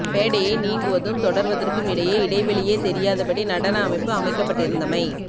மேடையை நீங்குவதும் தொடர்வதற்கும் இடையே இடைவெளியே தெரியாத படி நடன அமைப்பு அமைக்கப்பட்டிருந்தமை